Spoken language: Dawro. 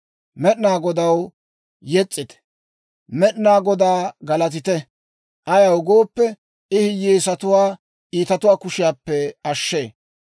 Med'inaa Godaw Yes's'ite! Med'inaa Godaa galatite! Ayaw gooppe, I hiyyeesatuwaa iitatuwaa kushiyaappe ashshee.